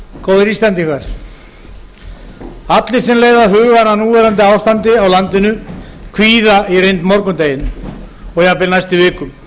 góðir íslendingar allir sem leiða hugann að núverandi ástandi í landinu kvíða í reynd morgundeginum og jafnvel næstu vikum